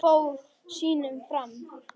Hún fór sínu fram.